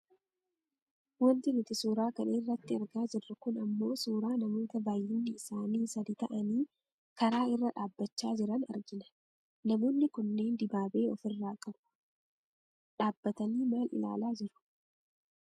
Wanti nuti suuraa kana irratti argaa jirru kun ammoo suuraa namoota baayyinni isaanii sadi ta'anii karaa irra dhaabbachaa jiran argina. Namoonni kunneen dibaabee of irraa qabu. Dhaabbatanii maal ilaalaa jiru?